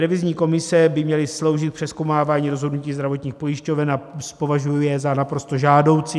Revizní komise by měly sloužit přezkoumávání rozhodnutí zdravotních pojišťoven a považuji je za naprosto žádoucí.